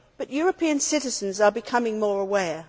European citizens are becoming more aware.